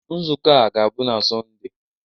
Nzukọ a ga-abụ na Sọnde.